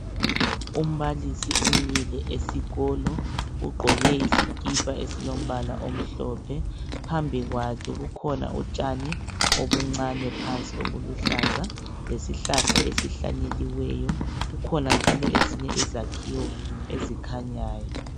Umbalisi umile esikolo ugqoke isikipha esilombala omhlophe. Phambi kwakhe kukhona utshani obuncane phansi obuluhlaza lesihlahla esihlanyeliweyo kukhona njalo izakhiwo ezikhanyayo.